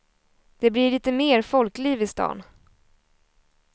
Det blir lite mer folkliv i stan.